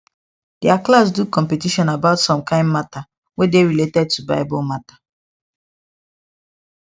their class do competition about some kind matter wey dey related to bible matter